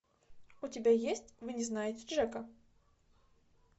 у тебя есть вы не знаете джека